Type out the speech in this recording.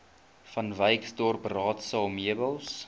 vanwyksdorp raadsaal meubels